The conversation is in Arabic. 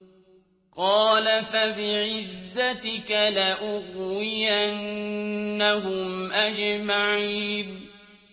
قَالَ فَبِعِزَّتِكَ لَأُغْوِيَنَّهُمْ أَجْمَعِينَ